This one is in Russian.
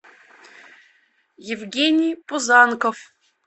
евгений пузанков